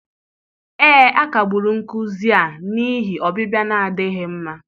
ee, a kagburu nkuzi a n'ihi ọbịbịa na-adịghị mma.